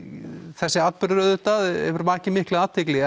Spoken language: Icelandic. þessi atburður hefur vakið mikla athygli